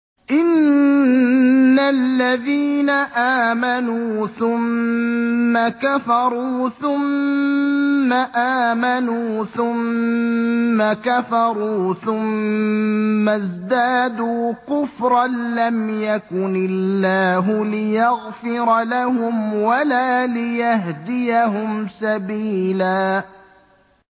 إِنَّ الَّذِينَ آمَنُوا ثُمَّ كَفَرُوا ثُمَّ آمَنُوا ثُمَّ كَفَرُوا ثُمَّ ازْدَادُوا كُفْرًا لَّمْ يَكُنِ اللَّهُ لِيَغْفِرَ لَهُمْ وَلَا لِيَهْدِيَهُمْ سَبِيلًا